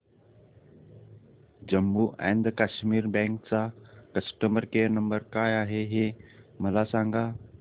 Jammu and Kashmir bank चा customer care number काय आहे हे मला सांगा